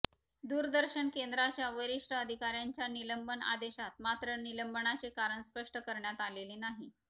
दुरदर्शन केंद्राच्या वरिष्ठ अधिकाऱ्यांच्या निलंबन आदेशात मात्र निलंबनाचे कारण स्पष्ट करण्यात आलेले नाही